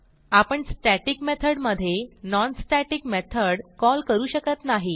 आपण static method मधे non static method call करू शकत नाही